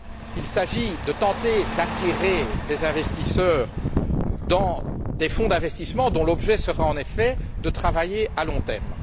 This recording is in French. Il s'agit de tenter d'attirer des investisseurs dans des fonds d'investissement dont l'objet sera, en effet, de travailler à long terme.